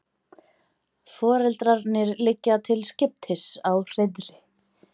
Foreldrarnir liggja til skiptis á hreiðri.